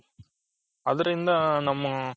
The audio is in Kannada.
ಅದರಿಂದ ನಮ್ಮ